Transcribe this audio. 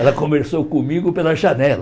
Ela conversou comigo pela janela.